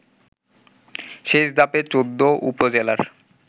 শেষ ধাপের ১৪ উপজেলার